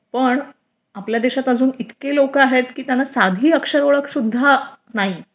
पण आपल्या देशात अजून इतकी लोक आहेत की त्यांना साधी अक्षर ओळख सुद्धा नाही